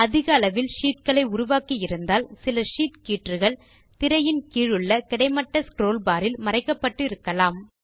அதிக அளவில் ஷீட் களை உருவாக்கியிருந்தால் சில ஷீட் கீற்றுகள் திரையின் கீழுள்ள கிடைமட்ட ஸ்க்ரோல் பார் இல் மறைக்கப்பட்டு இருக்கலாம்